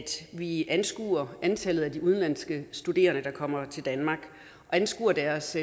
vi anskuer antallet af de udenlandske studerende der kommer til danmark og anskuer deres